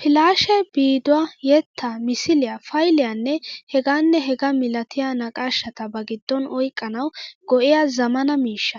Filaashee viiduwaa, yettaa, misiliyaa, fayliyaanne hegaanne hegaa milatiya naqaashata ba giddon oyqqanawu go'iya zammaana miishsha.